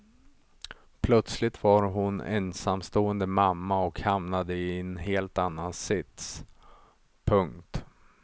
Plötsligt var hon ensamstående mamma och hamnade i en helt annan sits. punkt